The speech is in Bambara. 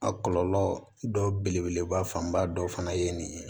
A kɔlɔlɔ dɔ belebeleba fanba dɔ fana ye nin ye